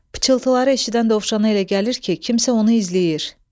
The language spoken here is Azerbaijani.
Pıçıltıları eşidən dovşana elə gəlir ki, kimsə onu izləyir.